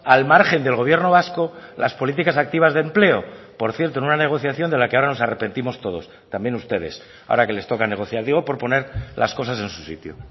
al margen del gobierno vasco las políticas activas de empleo por cierto en una negociación de la que ahora nos arrepentimos todos también ustedes ahora que les toca negociar digo por poner las cosas en su sitio